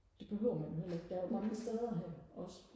det behøver man jo heller ikke der er jo mange steder her også